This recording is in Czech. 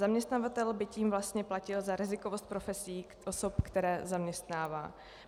Zaměstnavatel by tím vlastně platil za rizikovost profesí osob, které zaměstnává.